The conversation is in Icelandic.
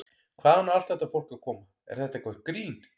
Hvaðan á allt þetta fólk að koma, er þetta eitthvert grín?